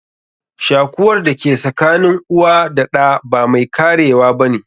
Shakuwar da ke sakanin uwa da ɗa ba mai karewa ba ne.